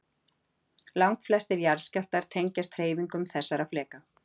Langflestir jarðskjálftar tengjast hreyfingum þessara fleka.